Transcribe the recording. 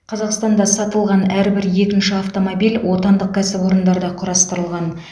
қазақстанда сатылған әрбір екінші автомобиль отандық кәсіпорындарда құрастырылған